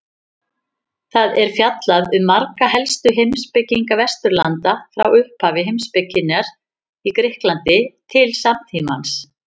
Þar er fjallað um marga helstu heimspekinga Vesturlanda frá upphafi heimspekinnar í Grikklandi til samtímans.